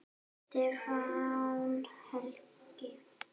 Stefán Helgi.